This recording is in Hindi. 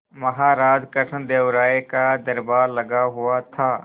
महाराज कृष्णदेव राय का दरबार लगा हुआ था